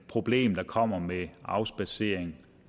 problem der kommer med afspadsering